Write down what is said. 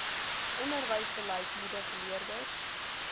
onderwysbeleid moedig leerders